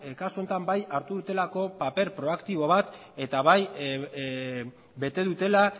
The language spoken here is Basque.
kasu honetan bai hartu dutelako paper proaktibo bat eta bai bete dutela